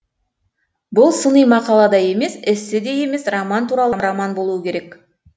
бұл сыни мақала да емес эссе де емес роман туралы роман болуы керек